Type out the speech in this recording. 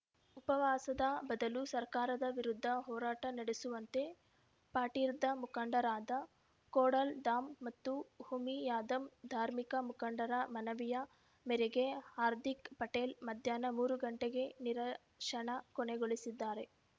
ಉಪವಾಸದ ಬದಲು ಸರ್ಕಾರದ ವಿರುದ್ಧ ಹೋರಾಟ ನಡೆಸುವಂತೆ ಪಾರ್ಟಿದಾ ಮುಖಂಡರಾದ ಖೋಡಾಲ್‌ಧಾಮ್‌ ಮತ್ತು ಉಮಿಯಾಧಮ್‌ ಧಾರ್ಮಿಕ ಮುಖಂಡರ ಮನವಿಯ ಮೇರೆಗೆ ಹಾರ್ದಿಕ್‌ ಪಟೇಲ್‌ ಮಧ್ಯಾಹ್ನ ಮೂರು ಗಂಟೆಗೆ ನಿರಶನ ಕೊನೆಗೊಳಿಸಿದ್ದಾರೆ